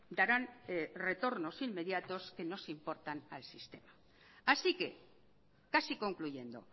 darán retornos inmediatos que nos importan al sistema así que casi concluyendo